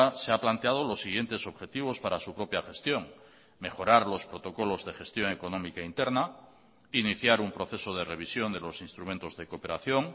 se ha planteado los siguientes objetivos para su propia gestión mejorar los protocolos de gestión económica interna iniciar un proceso de revisión de los instrumentos de cooperación